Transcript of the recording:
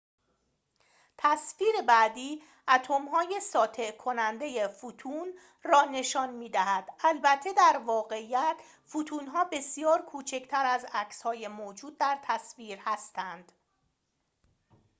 تصویر بعدی اتم‌های ساطع کننده فوتون را نشان می دهد البته در واقعیت فوتون‌ها بسیار کوچکتر از عکسهای موجود در تصویر هستند